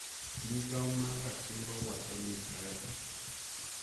Migao mar Ratiro wacho ni Brian